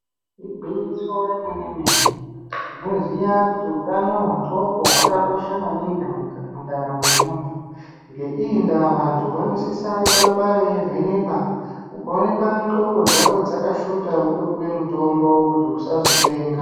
Igwinyiso remene mene tinoziya kuti utano hwendxoko hwakakosha maningi mundaramo yemuntu , ngeiyi ndaa vantu vanosisa kuramba veivhenekwa ukaonekwa ndxokobdzako dzakashota wotopuwa mutombo kuti usazopenga.